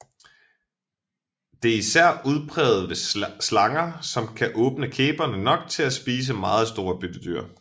Det er især udpræget ved slanger som kan åbne kæberne nok til at spise meget store byttedyr